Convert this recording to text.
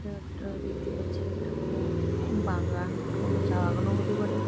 এটা একটা দেখতে পাচ্ছি একটা কোনো বাগান কোনো চা বাগানও হতে পারে ।